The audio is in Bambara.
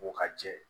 Ko ka jɛ